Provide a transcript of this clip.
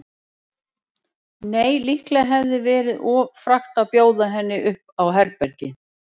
Nei, líklega hefði verið of frakkt að bjóða henni upp á herbergi.